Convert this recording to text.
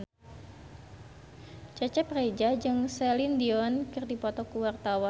Cecep Reza jeung Celine Dion keur dipoto ku wartawan